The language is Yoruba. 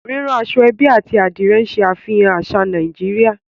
Rírán aṣọ-ẹ́bí àti Adìrẹ̀ ń ṣàfihàn àṣà Nàìjíríà